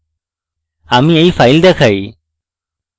আমি এই file দেখাই